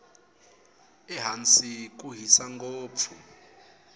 ehansi ku hisa ngopfu